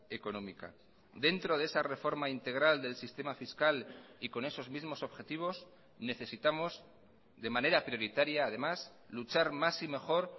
económica dentro de esa reforma integral del sistema fiscal y con esos mismos objetivos necesitamos de manera prioritaria además luchar más y mejor